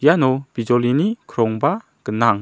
iano bijolini krongba gnang.